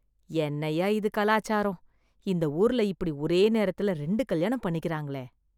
என்னய்யா இது கலாச்சாரம்.. இந்த ஊர்ல இப்படி ஒரே நேரத்துல ரெண்டு கல்யாணம் பண்ணிக்கிறாங்களே..